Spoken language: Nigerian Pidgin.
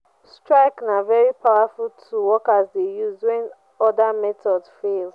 strike na very powerful tool workers de use when other methods fail